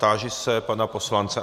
Táži se pana poslance.